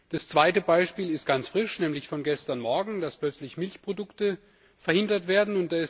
Das zweite Beispiel ist ganz frisch, nämlich von gestern Morgen, dass plötzlich Milchexporte verhindert werden.